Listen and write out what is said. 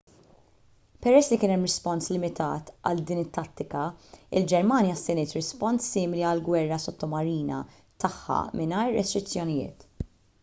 peress li kien hemm rispons limitat għal din it-tattika il-ġermanja stenniet rispons simili għall-gwerra sottomarina tagħha mingħajr restrizzjonijiet